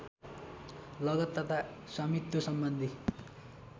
लगत तथा स्वामित्वसम्बन्धी